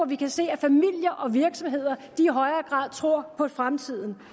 vi kan se at familier og virksomheder i højere grad tror på fremtiden